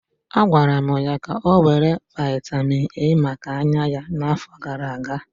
A gwara ya ka ọ were vitamin A maka anya ya n'afọ gara aga.